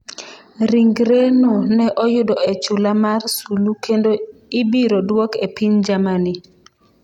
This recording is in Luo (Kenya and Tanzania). Ringreno ne oyudo e chula mar Sulu kendo ibiro duok e piny Germany.